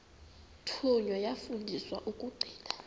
thunywa yafundiswa ukugcina